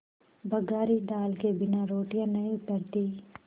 बघारी दाल के बिना रोटियाँ नहीं उतरतीं